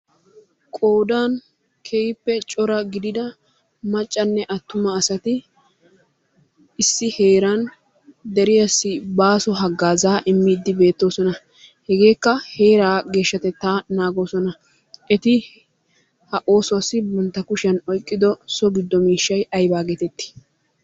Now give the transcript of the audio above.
Qoodan keehippe cora gidida maccanne attuma asati issi heeran deriyassi baaso haggaazaa immiiddi beettoosona. Hegeekka heeraa geeshshatettaa naagoosona. Eti ha oosuwassi bantta kushiyan oyqqido so giddo miishshay aybaa geetettii?